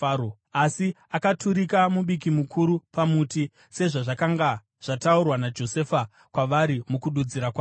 asi akaturika mubiki mukuru pamuti, sezvazvakanga zvataurwa naJosefa kwavari mukududzira kwake.